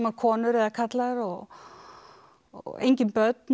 konur eða karlar og og engin börn